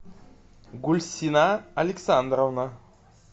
гульсина александровна